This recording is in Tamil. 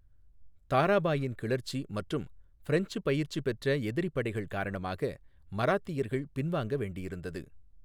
தாராபாயின் கிளர்ச்சி மற்றும் ஃபரெஞ்ச் பயிற்சி பெற்ற எதிரி படைகள் காரணமாக, மராத்தியர்கள் பின்வாங்க வேண்டியிருந்தது.